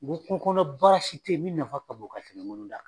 N ko kungo kɔnɔ baara si tɛ ye min nafa ka bon ka tɛmɛ da